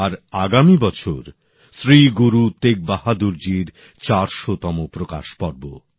আর আগামী বছর শ্রী গুরু তেগবাহাদুর জির ৪০০তম প্রকাশ পর্ব